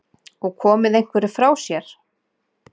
Og komið einhverju frá sér?